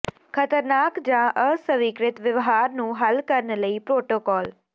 ਖ਼ਤਰਨਾਕ ਜਾਂ ਅਸਵੀਕ੍ਰਿਤ ਵਿਵਹਾਰ ਨੂੰ ਹੱਲ ਕਰਨ ਲਈ ਪ੍ਰੋਟੋਕਾਲ